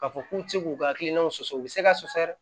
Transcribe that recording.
K'a fɔ k'u ti se k'u ka hakilinaw sɔsɔ u bɛ se ka sɔsɛ